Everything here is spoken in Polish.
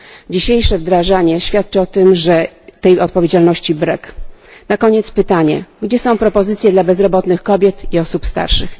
Dzisiejsze wdrażanie świadczy o tym, że tej odpowiedzialności brak. Na koniec pytanie gdzie są propozycje dla bezrobotnych kobiet i osób starszych?